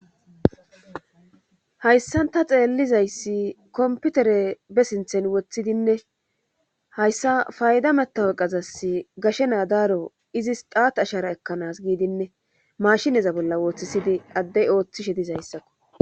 hayssanta xeellizayssi komputere be sinthen woththidinne hayssa fayda metaweqazas gashe naadaaro izis daat ashara ekkanas giidinne mashineza bolla wooththisidi addey ooththishe dizayssakko